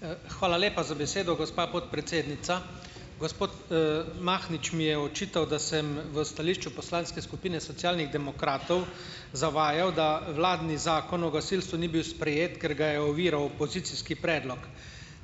Hvala lepa za besedo, gospa podpredsednica. Gospod, Mahnič mi je očital, da sem v stališču Poslanske skupine Socialnih demokratov zavajal, da vladni zakon o gasilstvu ni bil sprejet, ker ga je oviral opozicijski predlog,